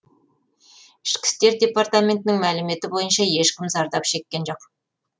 ішкі істер департаментінің мәліметі бойынша ешкім зардап шеккен жоқ